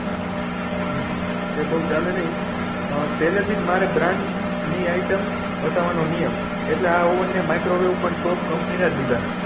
હમ એ બહુ ચાલે નહી આ પેલે થી મારે બ્રાંડ ની item વસવાનો નિયમ એટલે આ ઓવન ને માઇક્રો વેવ પણ top company ના લીધા